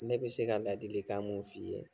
Ne bi se ka ladilikan mun f'i ye